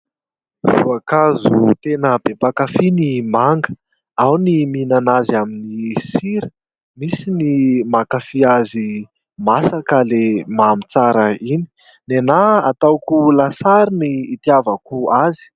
Voankazo tena be mpakafy ny manga, ao ny mihinana azy amin'ny sira, misy ny mankafy azy masaka ilay mamy tsara iny, ny ahy ataoko lasary no itiavako azy.